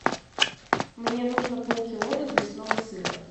мне нужно полкило развесного сыра